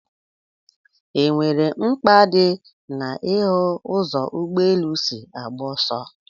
E nwere mkpa dị na ị hụ ụzọ ụgbọ elu si agba ọsọ?